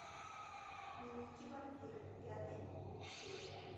дневники вампира пятая серия